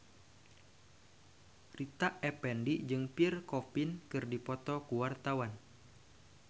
Rita Effendy jeung Pierre Coffin keur dipoto ku wartawan